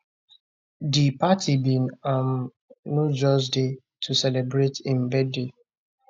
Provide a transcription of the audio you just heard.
di party bin um no just dey to celebrate im birthday